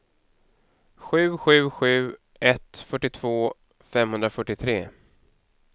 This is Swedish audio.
sju sju sju ett fyrtiotvå femhundrafyrtiotre